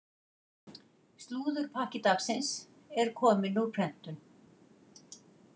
Slúðurpakki dagsins er kominn úr prentun.